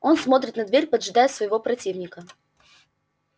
он смотрит на дверь поджидая своего противника